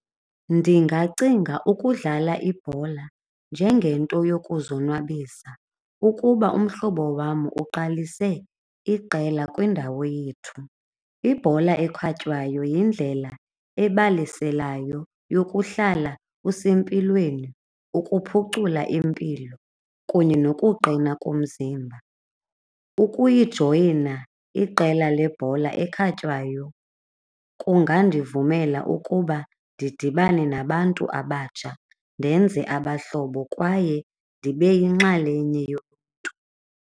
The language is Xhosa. Ndingacinga ukudlala ibhola njengento yokuzonwabisa ukuba umhlobo wam uqalise iqela kwindawo yethu. Ibhola ekhatywayo yindlela ebaleselayo yokuhlala usempilweni, ukuphucula impilo kunye nokuqina komzimba. Ukuyijoyina iqela lebhola ekhatywayo kungandivumela ukuba ndidibane nabantu abatsha ndenze abahlobo kwaye ndibe yinxalenye yoluntu.